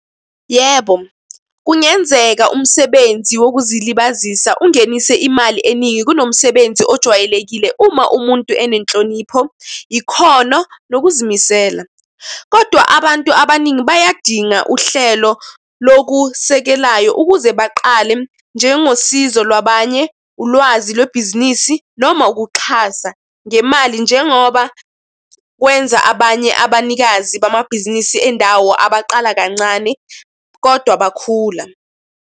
Yebo, kungenzeka umsebenzi wokuzilibazisa ungenise imali eningi kunomsebenzi ojwayelekile uma umuntu enenhlonipho, ikhono, nokuzimisela. Kodwa abantu abaningi bayadinga uhlelo lokusekelayo ukuze baqale njengosizo lwabanye, ulwazi lwebhizinisi, noma ukuxhasa ngemali, njengoba kwenza abanye abanikazi bamabhizinisi endawo abaqala kancane kodwa bakhula.